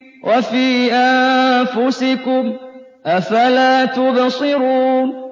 وَفِي أَنفُسِكُمْ ۚ أَفَلَا تُبْصِرُونَ